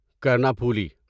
Karnaphuli